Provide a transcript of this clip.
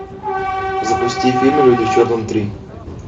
запусти фильм люди в черном три